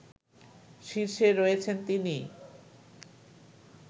শীর্ষে রয়েছেন তিনি